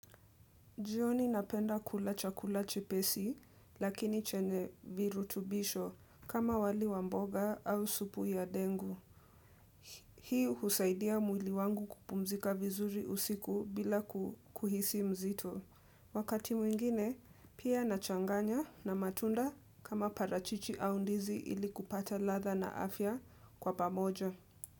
Jioni napenda kula chakula chepesi lakini chenye virutubisho kama wali wa mboga au supu ya dengu. Hii husaidia mwili wangu kupumzika vizuri usiku bila ku kuhisi mzito. Wakati mwingine pia nachanganya na matunda kama parachichi au ndizi ili kupata ladha na afya kwa pamoja.